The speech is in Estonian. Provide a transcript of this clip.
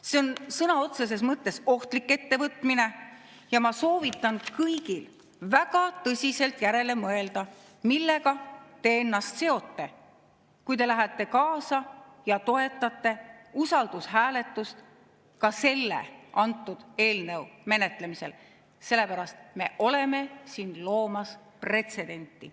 See on sõna otseses mõttes ohtlik ettevõtmine ja ma soovitan kõigil väga tõsiselt järele mõelda, millega te ennast seote, kui te lähete kaasa ja toetate usaldushääletust ka selle eelnõu menetlemisel, sellepärast et me oleme siin loomas pretsedenti.